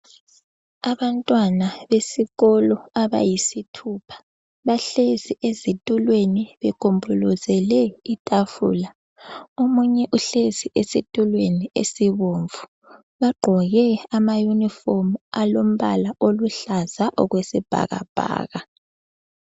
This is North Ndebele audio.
Abantwana besikolo abayisithupha bahlezi ezitulweni begombolozele itafula, omunye uhlezi esitulweni esibomvu , bagqoke ama uniform alombala oluhlaza okwesibhakabhaka